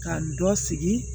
Ka dɔ sigi